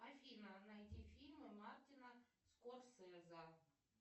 афина найди фильмы мартина скорсезе